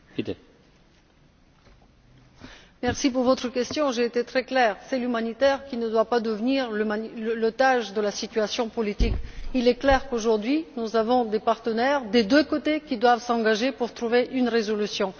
Monsieur le Président, j'ai été très claire l'humanitaire ne doit pas devenir otage de la situation politique. Il est clair qu'aujourd'hui nous avons des partenaires, des deux côtés, qui doivent s'engager pour trouver une solution.